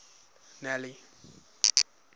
nelly